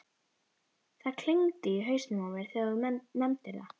Það klingdi í hausnum á mér þegar þú nefndir það.